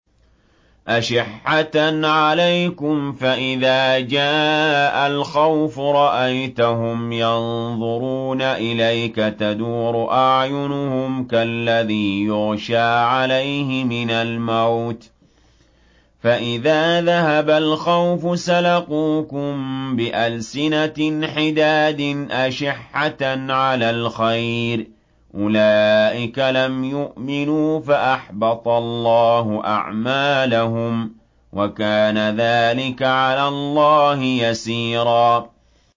أَشِحَّةً عَلَيْكُمْ ۖ فَإِذَا جَاءَ الْخَوْفُ رَأَيْتَهُمْ يَنظُرُونَ إِلَيْكَ تَدُورُ أَعْيُنُهُمْ كَالَّذِي يُغْشَىٰ عَلَيْهِ مِنَ الْمَوْتِ ۖ فَإِذَا ذَهَبَ الْخَوْفُ سَلَقُوكُم بِأَلْسِنَةٍ حِدَادٍ أَشِحَّةً عَلَى الْخَيْرِ ۚ أُولَٰئِكَ لَمْ يُؤْمِنُوا فَأَحْبَطَ اللَّهُ أَعْمَالَهُمْ ۚ وَكَانَ ذَٰلِكَ عَلَى اللَّهِ يَسِيرًا